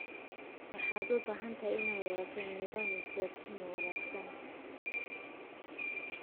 Waxaad u baahan tahay inaad yeelato nidaam isgaarsiineed oo wanaagsan.